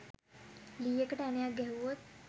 ලීයකට ඇණයක් ගැහුවොත්